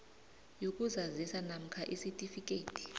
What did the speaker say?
yokuzazisa namkha isitifikhethi